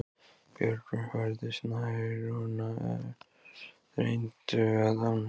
Björgin færðust nær og þrengdu að ánni.